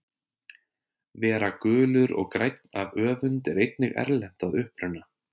Vera gulur og grænn af öfund er einnig erlent að uppruna.